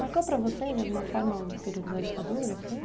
Marcou para você, de alguma forma, o período da ditadura, assim?